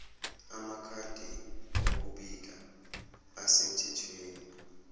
amakhadi okubika asemthethweni